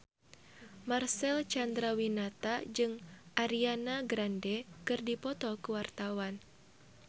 Marcel Chandrawinata jeung Ariana Grande keur dipoto ku wartawan